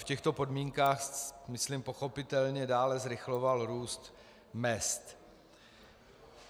V těchto podmínkách, myslím pochopitelně, dále zrychloval růst mezd.